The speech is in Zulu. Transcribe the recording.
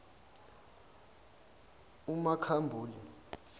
umakhambule